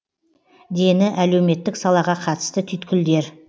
дені әлеуметтік салаға қатысты түйткілдер